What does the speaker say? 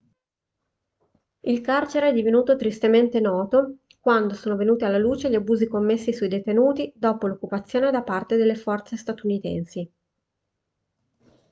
il carcere è divenuto tristemente noto quando sono venuti alla luce gli abusi commessi sui detenuti dopo l'occupazione da parte delle forze statunitensi